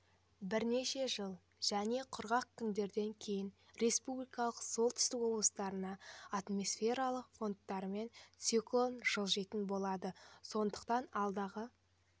бірнеше жылы және құрғақ күндерден кейін республиканың солтүстік облыстарына атмосфералық фронттармен циклон жылжитын болады сондықтан алдағы